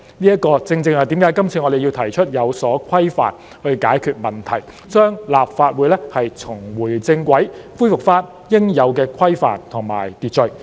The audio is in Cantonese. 這正是為何我們這次要提出有關規定以解決問題，讓立法會重回正軌，恢復應有的規範和秩序。